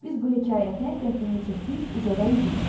Biz bu hekayətə qəhqəhə çəkib ucadan güldük.